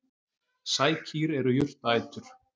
Sækýr eru jurtaætur.